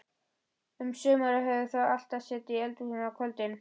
Um sumarið höfðu þau alltaf setið í eldhúsinu á kvöldin.